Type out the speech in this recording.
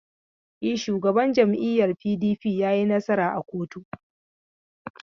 E, Shugaban jam'iyyar PDP ya yi nasara a koto.